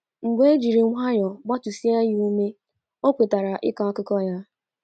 Mgbe e jiri nwayọọ gbatụsịa ya ume, o kwetara ịkọ akụkọ ya.